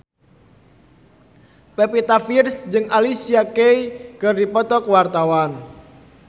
Pevita Pearce jeung Alicia Keys keur dipoto ku wartawan